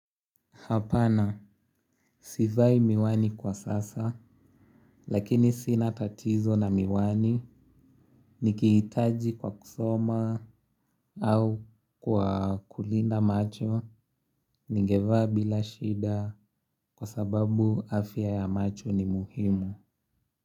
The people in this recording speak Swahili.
Hapana, sivai miwani kwa sasa, lakini sina tatizo na miwani, nikihitaji kwa kusoma au kwa kulinda macho, ningevaa bila shida kwa sababu afya ya macho ni muhimu.